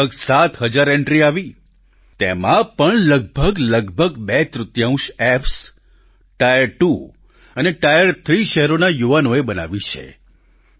લગભગ 7 હજાર એન્ટ્રી આવી તેમાં પણ લગભગ લગભગ બે તૃતિયાંશ એપ્સ ટાયર ત્વો અને ટાયર થ્રી શહેરોના યુવાનોએ બનાવી છે